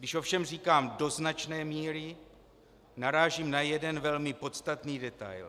Když ovšem říkám do značné míry, narážím na jeden velmi podstatný detail.